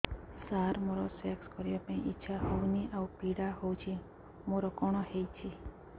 ସାର ମୋର ସେକ୍ସ କରିବା ପାଇଁ ଇଚ୍ଛା ହଉନି ଆଉ ପୀଡା ହଉଚି ମୋର କଣ ହେଇଛି